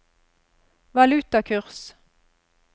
valutakurs